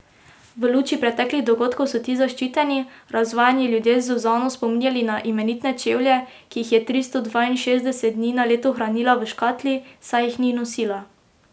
V luči preteklih dogodkov so ti zaščiteni, razvajeni ljudje Zuzano spominjali na imenitne čevlje, ki jih je tristo dvainšestdeset dni na leto hranila v škatli, saj jih ni nosila.